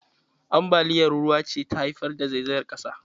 Ambaliyar ruwa ce ta haifar da zaizayar ƙasa.